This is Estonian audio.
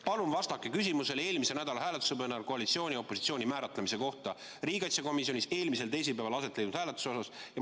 Palun vastake küsimusele koalitsiooni ja opositsiooni määratlemise kohta riigikaitsekomisjonis eelmisel teisipäeval aset leidnud hääletusel põhjal!